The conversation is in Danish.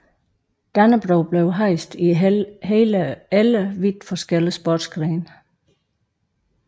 Dannebrog blev hejst i hele 11 vidt forskellige sportsgrene